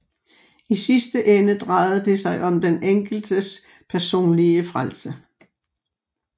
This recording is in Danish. I sidste ende drejede det sig om den enkeltes personlige frelse